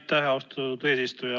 Aitäh, austatud eesistuja!